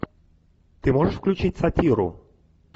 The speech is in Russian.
ты можешь включить сатиру